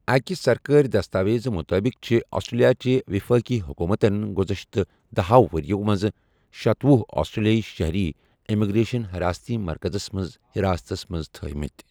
اَکہِ سرکٲری دستاویزٕ مُطٲبِق چھِ آسٹریلیاچہِ وفٲقی حکوٗمتَن گزشتہ دَہَو ؤرۍ ٮ۪و منٛز شتۄہُ آسٹریلوی شہری امیگریشن حراستی مَرکزَس منٛز حِراستَس منٛز تھٲوِمٕتۍ۔